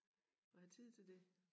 Og have tid til det